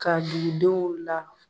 Ka dugu denw la.